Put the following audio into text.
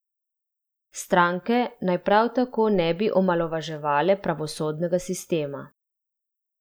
Stranke naj prav tako ne bi omalovaževale pravosodnega sistema.